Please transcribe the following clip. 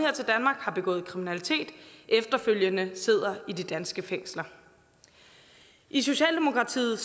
har begået kriminalitet efterfølgende sidder i de danske fængsler i socialdemokratiet